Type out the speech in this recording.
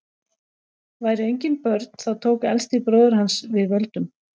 væru engin börn þá tók elsti bróðir hans við völdum